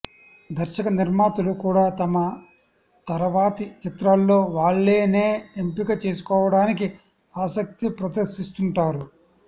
దర్శకనిర్మాతలు కూడా తమ తరవాతి చిత్రాల్లో వాళ్లనే ఎంపిక చేసుకోవడానికి ఆసక్తి ప్రదర్శిస్తుంటారు